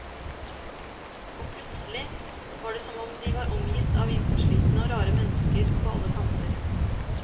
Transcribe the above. Og plutselig er det som de er omgitt av innpåslitne og rare mennesker på alle kanter.